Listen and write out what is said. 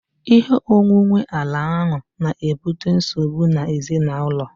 Ihe onwunwe ala ahu na-ebute nsogbu ezinaụlọ